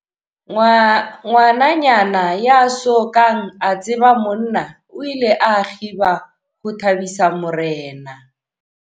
Ngwananyana ya so kang a tseba monna o ile a kgiba ho thabisa morena.